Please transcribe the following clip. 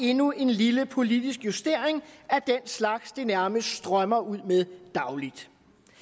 endnu en lille politisk justering af den slags det nærmest strømmer ud med dagligt